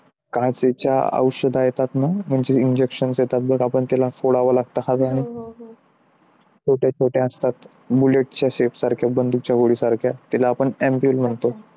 काचेच्या औषधे येतात ना? म्हणजे injection असतात आपण त्याला फोडावा लागतो. छोट्या छोट्या असतात bullet shape च्या सारख्या बंदूक च्या गोडी सारख्या त्याला आपण ampule म्हणतो